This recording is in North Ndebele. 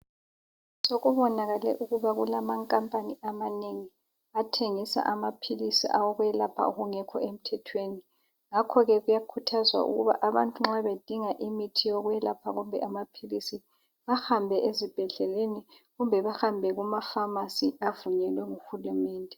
Sekubonakale ukuba kulamakapani amanengi athengisa amaphilisi awokwelapha okungekho emthethweni. Ngakho ke kuyakhuthazwa ukuba abantu nxa bedinga imithi yokwelapha kumbe amaphilisi, bahambe ezibhedleleni kumbe bahambe kumafamasi avunyelwe nguhulumende.